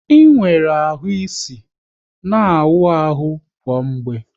Ị nwere ahụ isi, na awụ ahụ kwa mgbe!